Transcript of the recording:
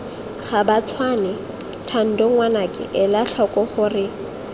gabatshwane thando ngwanaka elatlhoko gore